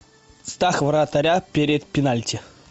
страх вратаря перед пенальти